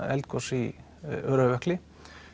eldgoss í Öræfajökli